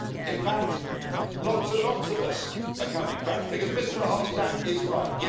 In fact lots and lots of us are coming back because Mr Verhofstadt is right.